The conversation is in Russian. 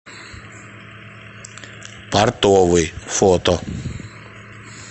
портовый фото